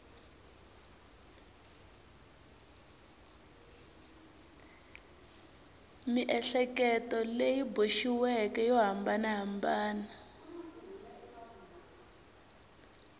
miehleketo leyi boxiweke yo hambanahambana